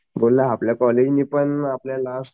बोल्ला आपल्या कॉलेज नि पण आपल्याला